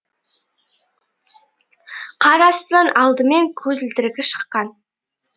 қар астынан алдымен көзілдірігі шыққан